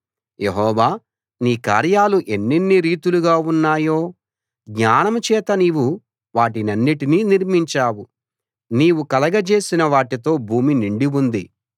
యెహోవా నీ కార్యాలు ఎన్నెన్ని రీతులుగా ఉన్నాయో జ్ఞానం చేత నీవు వాటన్నిటినీ నిర్మించావు నీవు కలగజేసిన వాటితో భూమి నిండి ఉంది